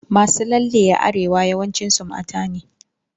Masu lalle a Arewa yawancin su mata ne.